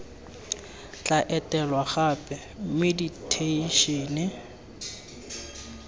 tla etelwang gape mme diteishene